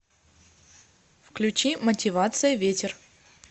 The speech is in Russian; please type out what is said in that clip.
включи мотивация ветер